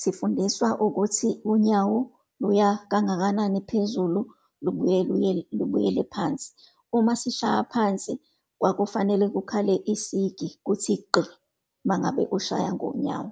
sifundiswa ukuthi unyawo luya kangakanani phezulu, lubuye luye lubuyele phansi. Uma sishaya phansi kwakufanele kukhale isigi, kuthi gqi, uma ngabe kushaya ngonyawo.